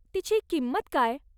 तिची किंमत काय?